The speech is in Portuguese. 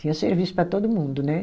Tinha serviço para todo mundo, né?